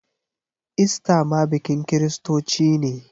Ista ma bikin kiristoci ne.